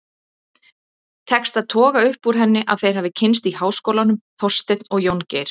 Tekst að toga upp úr henni að þeir hafi kynnst í háskólanum, Þorsteinn og Jóngeir.